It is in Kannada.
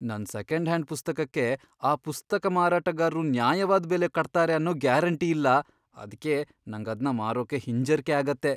ನನ್ ಸೆಕೆಂಡ್ ಹ್ಯಾಂಡ್ ಪುಸ್ತಕಕ್ಕೆ ಆ ಪುಸ್ತಕ ಮಾರಾಟಗಾರ್ರು ನ್ಯಾಯವಾದ್ ಬೆಲೆ ಕಟ್ತಾರೆ ಅನ್ನೋ ಗ್ಯಾರಂಟಿ ಇಲ್ಲ, ಅದ್ಕೇ ನಂಗದ್ನ ಮಾರೋಕೇ ಹಿಂಜರ್ಕೆ ಆಗತ್ತೆ.